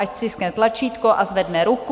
Ať stiskne tlačítko a zvedne ruku.